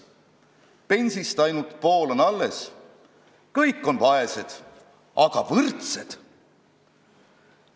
Pensist ainult pool on alles, kõik on vaesed, aga võrdsed.